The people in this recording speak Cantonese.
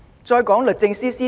再說律政司司長。